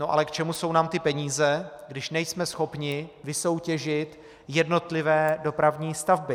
No ale k čemu jsou nám ty peníze, když nejsme schopni vysoutěžit jednotlivé dopravní stavby?